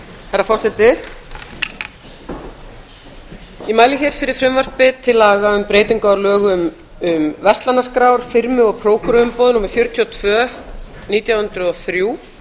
herra forseti ég mæli hér fyrir frumvarpi til laga um breytingu á lögum um verslanaskrár firmu og prókúruumboð númer fjörutíu og tvö nítján hundruð og þrjú